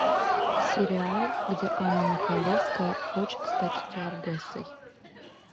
сериал где анна михайловская хочет стать стюардессой